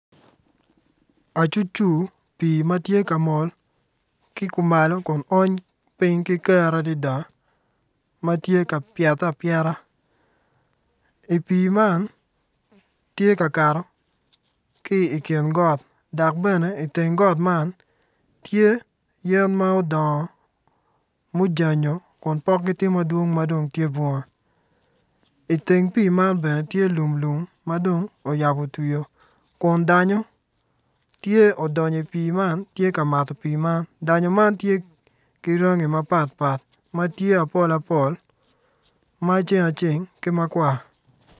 Acu cu pii matye kamol ki kumalo kun ony piny ki kero adada matye ka pyete apyeta i pii man tye kakato ki ikin got dok bene iteng got man tye yen ma odongo mujanyo kun pokgi tye madwong madong tye bunga iteng pii man bene tye lum lum madong oyabo twio kun danyo tye odonyo i pii man tye ka mato pii man danyo man tye ki rangi mapatpat matye apol apol maceng aceng ki makwar